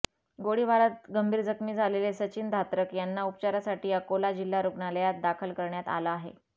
गोळीबारात गंभीर जखमी झालेले सचिन धात्रक यांना उपचारासाठी अकोला जिल्हा रूग्णालयात दाखल करण्यात आलं आहे